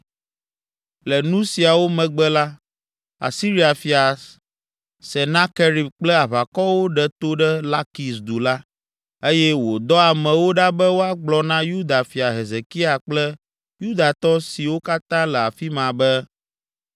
Le nu siawo megbe la Asiria fia Senakerib kple aʋakɔwo ɖe to ɖe Lakis du la, eye wòdɔ amewo ɖa be woagblɔ na Yuda fia Hezekia kple Yudatɔ siwo katã le afi ma be,